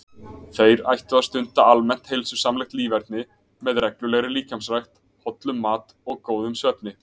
Þeir ættu að stunda almennt heilsusamlegt líferni með reglulegri líkamsrækt, hollum mat og góðum svefni.